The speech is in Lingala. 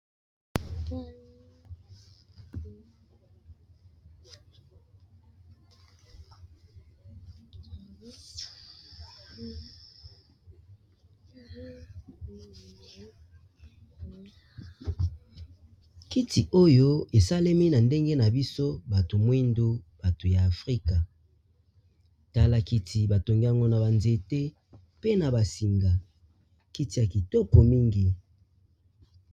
kiti oyo esalemi na ndenge na biso bato mwindu bato ya afrika tala kiti batongiango na banzete pe na basinga kiti ya kitoko mingi